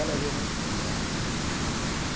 Ela veio muito sem graça.